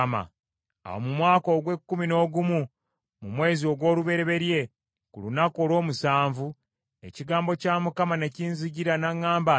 Awo mu mwaka ogw’ekkumi n’ogumu, mu mwezi ogw’olubereberye ku lunaku olw’omusanvu, ekigambo kya Mukama ne kinzijira n’aŋŋamba nti,